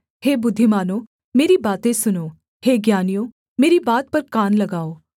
हे बुद्धिमानों मेरी बातें सुनो हे ज्ञानियों मेरी बात पर कान लगाओ